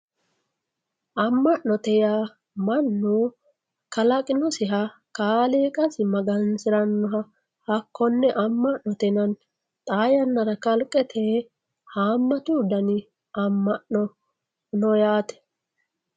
Ama`note yaa mannu kalaqinosiha kaaliqasi magansiranoha hakone amanote yinani xaa yanara kalqete haamatu dani ama`no no yaate